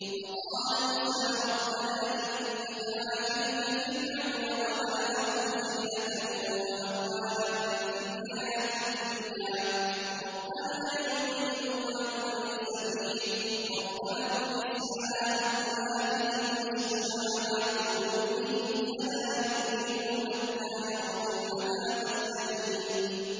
وَقَالَ مُوسَىٰ رَبَّنَا إِنَّكَ آتَيْتَ فِرْعَوْنَ وَمَلَأَهُ زِينَةً وَأَمْوَالًا فِي الْحَيَاةِ الدُّنْيَا رَبَّنَا لِيُضِلُّوا عَن سَبِيلِكَ ۖ رَبَّنَا اطْمِسْ عَلَىٰ أَمْوَالِهِمْ وَاشْدُدْ عَلَىٰ قُلُوبِهِمْ فَلَا يُؤْمِنُوا حَتَّىٰ يَرَوُا الْعَذَابَ الْأَلِيمَ